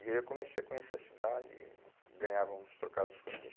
E aí eu comecei a conhecer a cidade, ganhava uns trocados com isso.